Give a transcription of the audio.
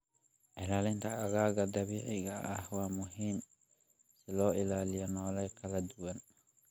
Ilaalinta aagaga dabiiciga ah waa muhiim si loo ilaaliyo noole kala duwan.